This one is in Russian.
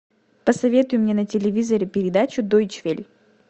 посоветуй мне на телевизоре передачу дойчвель